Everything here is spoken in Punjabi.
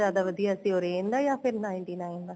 ਜਿਆਦਾ ਵਧੀਆ ਸੀ orange ਦਾ ਜਾਂ ਫੇਰ ninety nine ਦਾ